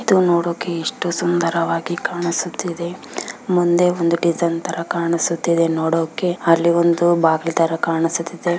ಇದು ನೋಡೋಕೆ ಎಷ್ಟು ಸುಂದರವಾಗಿ ಕಾಣಿಸುತ್ತಿದೆ ಮುಂದೆ ಒಂದು ಡಿಸೈನ್ ತರ ಕಾಣಿಸುತ್ತಿದೆ ನೋಡೋಕೆ ಅಲ್ಲಿ ಒಂದು ಬಾಗಿಲು ತರ ಕಾಣಿಸುತ್ತಿದೆ.